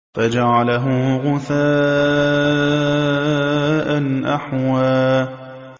فَجَعَلَهُ غُثَاءً أَحْوَىٰ